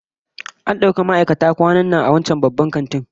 An dauki ma'aikata kwanan nan a wancan babban kantin